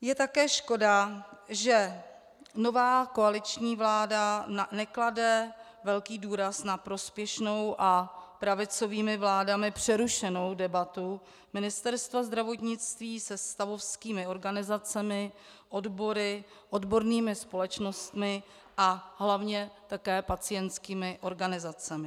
Je také škoda, že nová koaliční vláda neklade velký důraz na prospěšnou a pravicovými vládami přerušenou debatu Ministerstva zdravotnictví se stavovskými organizacemi, odbory, odbornými společnostmi a hlavně také pacientskými organizacemi.